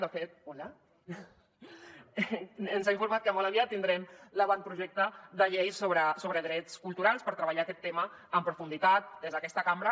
de fet hola ens ha informat que molt aviat tindrem l’avantprojecte de llei sobre drets culturals per treballar aquest tema amb profunditat des d’aquesta cambra